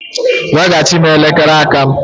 Weghachi m elekere aka m!